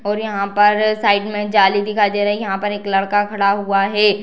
और यहा पर अ साइड में जाली दिखाई दे रही है। यहा पर एक लड़का खड़ा हुआ है।